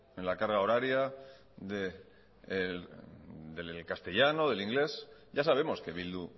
en la carga horaria del castellano del inglés ya sabemos que bildu